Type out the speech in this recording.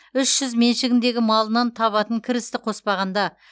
үш жүз меншігіндегі малынан табатын кірісті қоспағанда